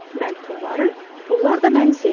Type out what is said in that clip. Mən pulları, pullar da məni sevir.